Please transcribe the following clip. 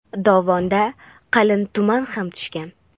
dovonda qalin tuman ham tushgan.